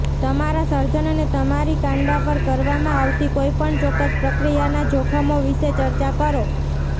તમારા સર્જનને તમારી કાંડા પર કરવામાં આવતી કોઈપણ ચોક્કસ પ્રક્રિયાના જોખમો વિશે ચર્ચા કરો